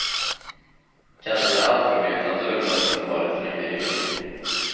Kanske hade allting blivit annorlunda om det inte varit för den gryningen.